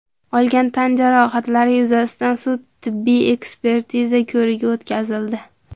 olgan tan jarohatlari yuzasidan sud tibbiy ekspertiza ko‘rigi o‘tkazildi.